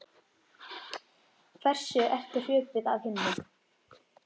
Hversu ertu hröpuð af himni